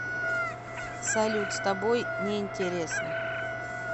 салют с тобой неинтересно